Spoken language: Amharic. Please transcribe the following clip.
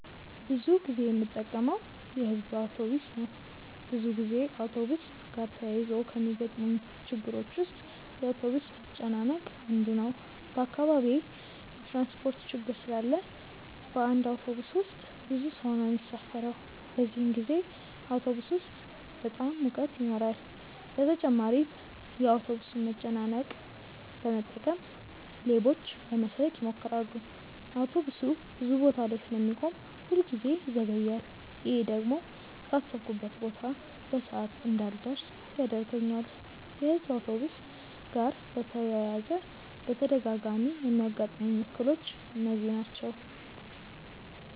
ብዙ ጊዜ የምጠቀመው የሕዝብ አውቶብስ ነው። ብዙ ጊዜ አውቶብስ ጋር ተያይዞ ከሚገጥሙኝ ችግሮች ውስጥ የአውቶብስ መጨናነቅ አንዱ ነው። በአካባቢዬ የትራንስፖርት ችግር ስላለ በአንድ አውቶብስ ውስጥ ብዙ ሰው ነው የሚሳፈረው። በዚህን ጊዜ አውቶብስ ውስጥ በጣም ሙቀት ይኖራል በተጨማሪም የአውቶብሱን መጨናነቅ በመጠቀም ሌቦች ለመስረቅ ይሞክራሉ። አውቶብሱ ብዙ ቦታ ላይ ስለሚቆም ሁል ጊዜ ይዘገያል። ይሄ ደግሞ ካሰብኩበት ቦታ በሰዓት እንዳልደርስ ያደርገኛል። የሕዝብ አውቶብስ ጋር በተያያዘ በተደጋጋሚ የሚያጋጥሙኝ እክሎች እነዚህ ናቸው።